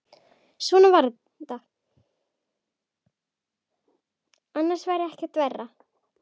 Annars væri ekkert verra.